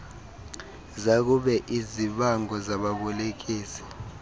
zakube izibango zababolekisi